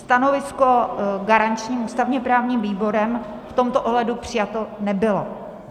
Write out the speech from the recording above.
Stanovisko garančním ústavně-právním výborem v tomto ohledu přijato nebylo.